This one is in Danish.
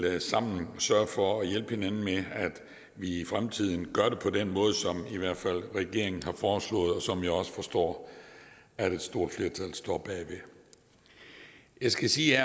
at vi sammen vil sørge for at hjælpe hinanden med at vi i fremtiden gør det på den måde som i hvert fald regeringen har foreslået og som jeg også forstår at et stort flertal står bag jeg skal sige